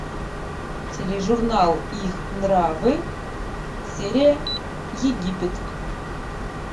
тележурнал их нравы серия египет